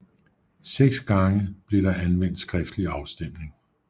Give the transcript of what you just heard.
Seks gange blev der anvendt skriftlig afstemning